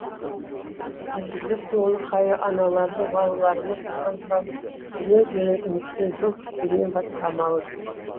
әзірге көңілі қаяу аналардың балаларымыз аман сау келер деген үмітпен жол күткеннен басқа амалы жоқ